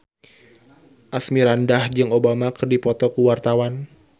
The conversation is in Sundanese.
Asmirandah jeung Obama keur dipoto ku wartawan